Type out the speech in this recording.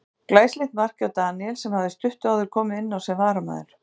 Glæsilegt mark hjá Daníel sem hafði stuttu áður komið inn á sem varamaður.